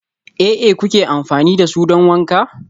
aA kuke amfani da su don wanka?